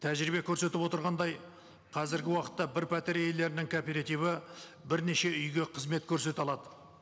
тәжірибе көрсетіп отырғандай қазіргі уақытта бір пәтер иелерінің кооперативі бірнеше үйге қызмет көрсете алады